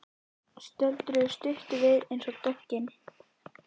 Stöldruðu stutt við eins og döggin.